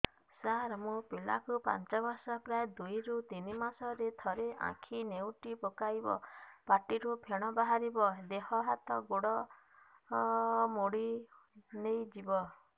ସାର ମୋ ପିଲା କୁ ପାଞ୍ଚ ବର୍ଷ ପ୍ରାୟ ଦୁଇରୁ ତିନି ମାସ ରେ ଥରେ ଆଖି ନେଉଟି ପକାଇବ ପାଟିରୁ ଫେଣ ବାହାରିବ ଦେହ ହାତ ମୋଡି ନେଇଯିବ